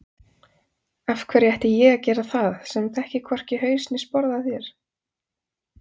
Af hverju ætti ég að gera það sem þekki hvorki haus né sporð á þér